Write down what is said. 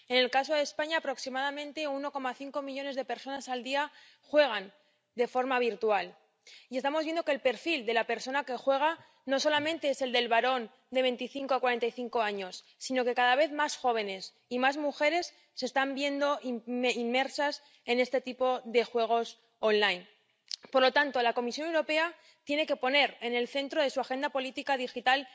En el caso de España, aproximadamente 1,5 millones de personas al día juegan de forma virtual y estamos viendo que el perfil de la persona que juega no solamente es el del varón de 25 a 45 años, sino que cada vez más jóvenes y más mujeres se están viendo inmersos en este tipo de juegos en línea. Por lo tanto, la Comisión Europea también tiene que poner en el centro de su agenda política digital